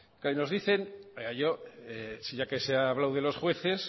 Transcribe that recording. ya que se ha hablado de los jueces